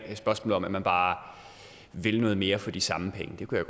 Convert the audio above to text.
spørgsmål om at man bare vil noget mere for de samme penge det kunne